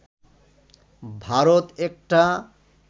ভারত একটা